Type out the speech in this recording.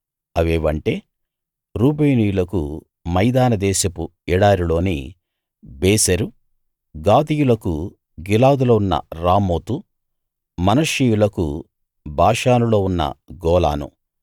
అవేవంటే రూబేనీయులకు మైదాన దేశపు ఎడారిలోని బేసెరు గాదీయులకు గిలాదులో ఉన్న రామోతు మనష్షీయులకు బాషానులో ఉన్న గోలాను